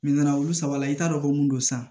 olu saba la i t'a dɔn ko mun don san